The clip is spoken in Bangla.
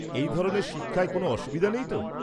-এই ধরনের শিক্ষায় কোনও অসুবিধা নেই তো?